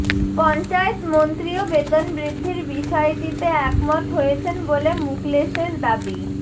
পঞ্চায়েত মন্ত্রীও বেতনবৃদ্ধির বিষয়টিতে একমত হয়েছেন বলে মুকলেসের দাবি